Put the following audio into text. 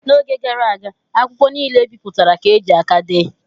N'oge gara aga akwụkwọ niile e bipụtara ka e ji aka dee.